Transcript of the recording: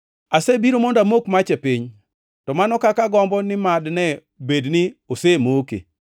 “Asebiro mondo amok mach e piny, to mano kaka agombo ni mad ne bed ni osemoke!